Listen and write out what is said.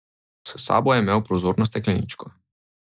S sabo je imel prozorno stekleničko.